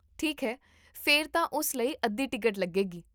ਠੀਕ ਹੈ, ਫਿਰ ਤਾਂ ਉਸ ਲਈ ਅੱਧੀ ਟਿਕਟ ਲੱਗੇਗੀ